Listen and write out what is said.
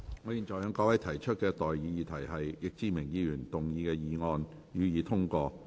我現在向各位提出的待議議題是：易志明議員動議的議案，予以通過。